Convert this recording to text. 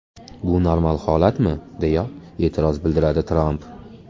Bu normal holatmi?”, deya e’tiroz bildiradi Tramp.